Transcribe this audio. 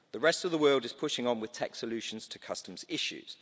The rest of the world is pushing on with tech solutions to customs issues.